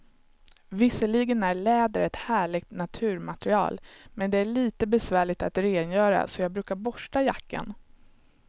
Visserligen är läder ett härligt naturmaterial, men det är lite besvärligt att rengöra, så jag brukar borsta jackan.